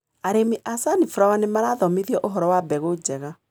Arĩmi a sunflower nĩmarathomithio ũhoro wa mbegũ njega.